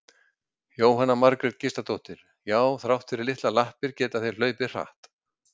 Jóhanna Margrét Gísladóttir: Já þrátt fyrir litlar lappir geta þeir hlaupið hratt?